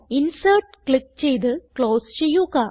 insert click ചെയ്ത് close ചെയ്യുക